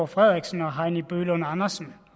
frederiksen og heini bøgelund andersen